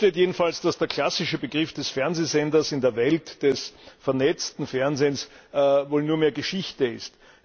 Fest steht jedenfalls, dass der klassische Begriff des Fernsehsenders in der Welt des vernetzten Fernsehens wohl nur mehr Geschichte ist.